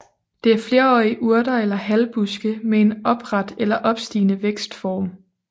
Det er flerårige urter eller halvbuske med en opret eller opstigende vækstform